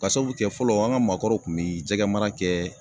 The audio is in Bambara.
Ka sabu kɛ fɔlɔ an ka maakɔrɔw kun bɛ jɛgɛ mara kɛ